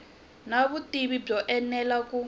na vutivi byo enela ku